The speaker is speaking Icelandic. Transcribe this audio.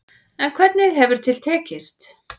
En hvernig hefur til tekist.